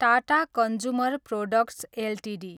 Tata consumer products Ltd